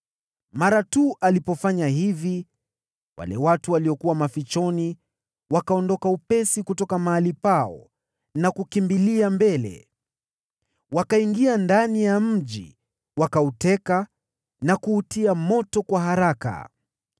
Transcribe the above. Mara tu alipofanya hivi, wale watu waliokuwa mavizioni wakaondoka upesi kutoka mahali pao na kukimbilia mbele. Wakaingia ndani ya mji, wakauteka na kuutia moto kwa haraka.